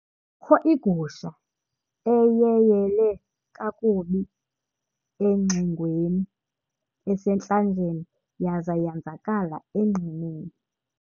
Kukho igusha eyeyele kakubi engxingweni esentlanjeni yaza yenzakala enqineni.